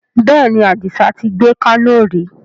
Bẹ́ẹ̀ni, Adisa tí gbé Kano ri